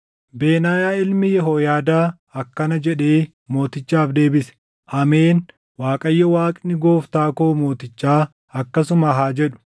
Benaayaa ilmi Yehooyaadaa akkana jedhee mootichaaf deebise; “Ameen! Waaqayyo Waaqni gooftaa koo mootichaa akkasuma haa jedhu.